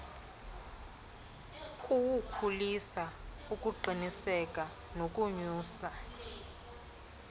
kuwukhulisa ukuqiniseka nokonyusa